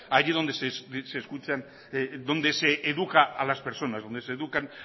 allí donde se educa a las personas donde se educan